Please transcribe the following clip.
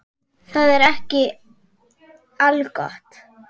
En það er ekki algott.